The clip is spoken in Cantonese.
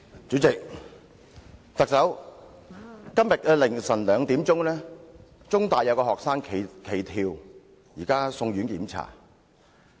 主席，特首，今天凌晨2時，香港中文大學有學生企圖跳樓，現正送院檢查。